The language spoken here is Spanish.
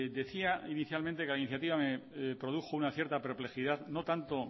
decía inicialmente que la iniciativa me produjo una cierta perplejidad no tanto